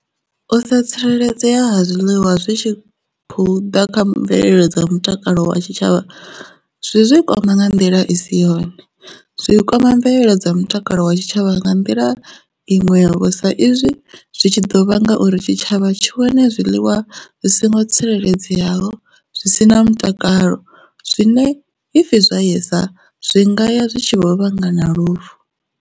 U sa tsireledzea ha zwiliwa zwi tshi khou ḓa kha mvelelo dza mutakalo wa tshitshavha zwi zwi kwama nga nḓila i si yone zwi kwama mvelelo dza mutakalo wa tshitshavha nga nḓila iṅwe vho sa izwi zwi tshi ḓo vha ngauri tshitshavha tshi wane zwiḽiwa zwi songo tsireledzeaho zwi si na mutakalo zwine ipfhi zwaya isa zwi ngaya zwi tshi vho vhanga na lufu.